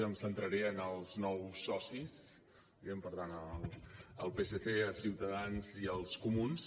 em centraré en els nous socis diguem ne per tant al psc a ciutadans i als comuns